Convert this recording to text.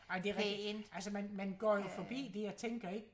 ej det rigtigt man går jo forbi det og tænker ikke